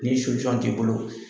Nii t'i bolo